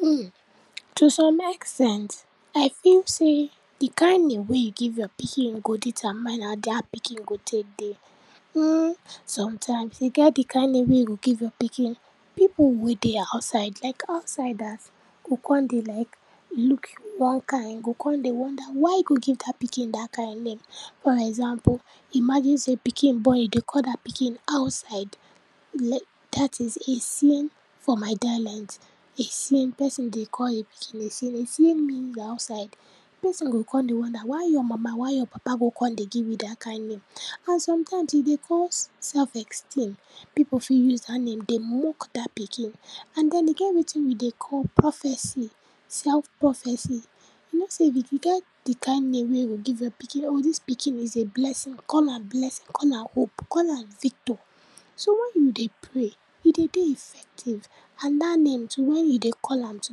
Hmm, to some ex ten ds, I feel sey di kind name wey you give your pikin go determine how dat pikin go tek dey. Hmm, sometimes, e get di kind name wey you go give your pikin, pipu wey dey outside, like outsiders go kon dey like look you one kind, go kon dey wonder, why you go give dat pikin dat kind name. For example, imagine sey pikin born, you dey call dat pikin outside, like dat is Essien for my dialect, Esssien, person dey call im pikin Essien, Essien means outside. Person go kon dey wonder why your mama, why your papa go kon dey give you dat kind name, and some times e dey cause self-esteem. Pipu fit use dat name dey mock dat pikin and den e get wetin we dey call prophecy, self-prophecy. You know sey e e get di kind name wey you go give your pikin, e o, dis pikin is a blessing, call am blessing, call am hope, call am victor, so when you dey pray e dey dey effective and dat name too wen you dey call am, to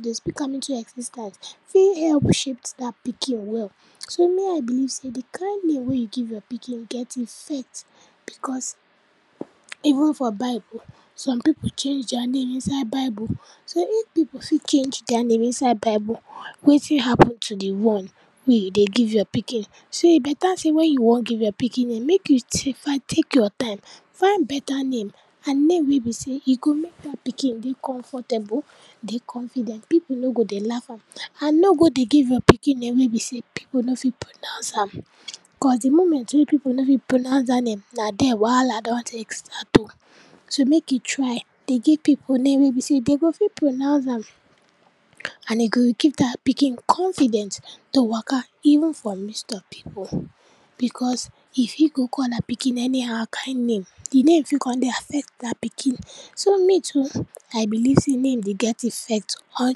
dey speak am into exis ten t fit help shape dat pikin well. So, me I believe sey di kind name wey you give your pikin get effect, because even for bible, some pipu change dia name inside bible. So, if pipu fit change dia name inside bible, wetin happen to di one wey you dey give your pikin. So, e beta sey wen you wan give your pikin name, mek you sti find take your time find beta name, and name wey be sey e go mek dat pikin dey comfortable, dey confident, pipu no go dey laugh am and no go dey give your pikin name wey be sey pipu no fit pronounce am, cos di moment wey pipu nor fit pronounce dat name na dier wahaa don tek start o. so, mek you try dey give pipu name wey be sey den go fit pronounce am and e go give dat pikin confident to waka even for midst of pipu because if you go call dat pikin any how kind name, di name fit kon dey affect dat pikin. So, me too I believe sey name dey get effect on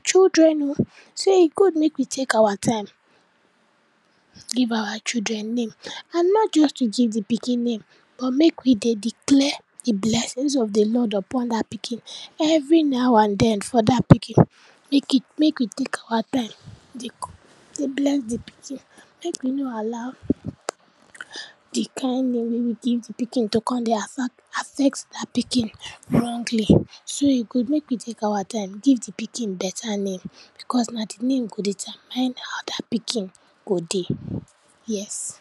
children o, so e good mek we take our time, give our children name and nor just to give de pikin name but mek we dey declare di blessings of de lord upon dat pikin, every now and den for dat pikin. Mek we di, mek we tek our time dey bless di pikin, mek we no allow di kind name wey we give di pikin to kon dey affect affect dat pikin wrongly. So, e good mek we take our time give di pikin beta name cos na di name go determine how dat pikin go dey, yes.